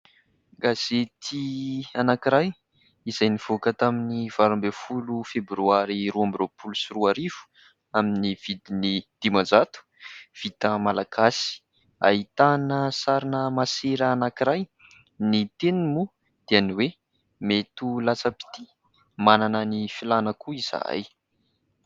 Gazety anankiray izay nivoaka tamin'ny valo amby folo Febroary roa amby roapolo sy roarivo amin'ny vidiny dimanjato vita malagasy, ahitana sarina masera anankiray, ny teniny moa dia ny hoe :« Mety ho latsa-pitia, manana ny filàna ihany koa izahay ».